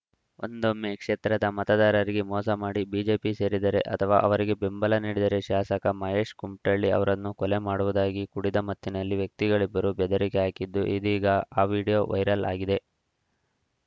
ಒಂದೊಮ್ಮೆ ಕ್ಷೇತ್ರದ ಮತದಾರರಿಗೆ ಮೋಸ ಮಾಡಿ ಬಿಜೆಪಿ ಸೇರಿದರೆ ಅಥವಾ ಅವರಿಗೆ ಬೆಂಬಲ ನೀಡಿದರೆ ಶಾಸಕ ಮಹೇಶ್‌ ಕುಮಠಳ್ಳಿ ಅವರನ್ನು ಕೊಲೆ ಮಾಡುವುದಾಗಿ ಕುಡಿದ ಮತ್ತಿನಲ್ಲಿ ವ್ಯಕ್ತಿಗಳಿಬ್ಬರು ಬೆದರಿಕೆ ಹಾಕಿದ್ದು ಇದೀಗ ಆ ವಿಡಿಯೋ ವೈರಲ್‌ ಆಗಿದೆ